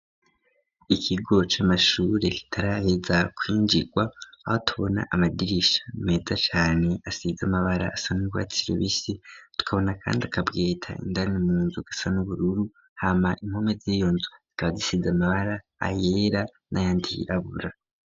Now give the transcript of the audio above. Ikigo c'amashure kitarayeza kwinjirwa aho tubona amadirisha meza cane asize amabara asanurwatsi rubisi tukabona kandi akabweta indani munzu gasa n'ubururu hama inkome z'iyonzu zikabazisize amabara ayera n'ayandi yirabura.